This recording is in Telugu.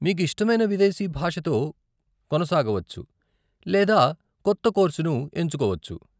మీకు ఇష్టమైన విదేశీ భాషతో కొనసాగవచ్చు లేదా కొత్త కోర్సును ఎంచుకోవచ్చు.